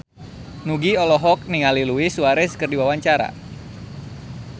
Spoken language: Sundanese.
Nugie olohok ningali Luis Suarez keur diwawancara